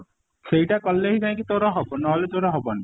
ସେଇଟା କଲେ ହିଁ ଜାଇକି ତୋର ହବ ନହେଲେ ତୋର ହବନି